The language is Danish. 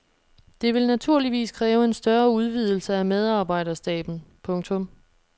Det vil naturligvis kræve en større udvidelse af medarbejderstaben. punktum